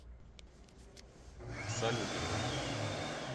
салют его